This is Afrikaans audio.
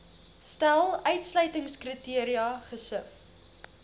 stel uitsluitingskriteria gesif